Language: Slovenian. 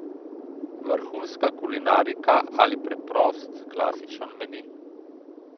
Vrhunska kulinarika ali preprost klasičen meni?